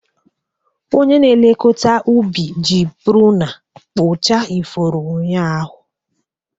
Onye na-elekọta ubi ji pruna kpụchaa ifuru ụnyaahụ.